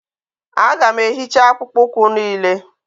aga m ehicha akpụkpọ ụkwụ niile